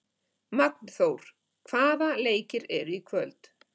Magnþór, hvaða leikir eru í kvöld?